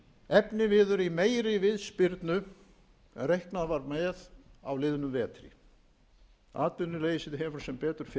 efniviður í meiri viðspyrnu en reiknað var með á liðnum vetri atvinnuleysið hefur sem betur fer enn reynst